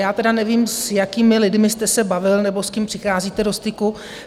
Já tedy nevím, s jakými lidmi jste se bavil nebo s kým přicházíte do styku.